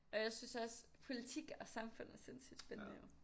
Og jeg synes også politik og samfund er sindssygt spændende jo